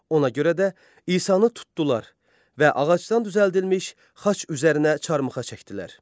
Ona görə də İsanı tutdular və ağacdan düzəldilmiş xaç üzərinə çarmıxa çəkdilər.